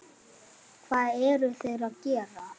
Hvað eruð þér að gera?